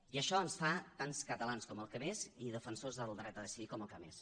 i això ens fa tan catalans com els que més i defensors del dret a decidir com el que més